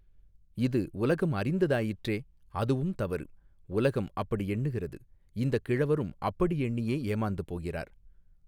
இது உலகம் அறிந்ததாயிற்றே அதுவும் தவறு உலகம் அப்படி எண்ணுகிறது இந்தக் கிழவரும் அப்படி எண்ணியே ஏமாந்து போகிறார்.